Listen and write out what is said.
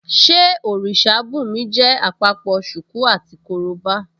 Ṣé òrìṣà bùnmi jẹ́ àpapọ̀ ṣùkú àti korobá?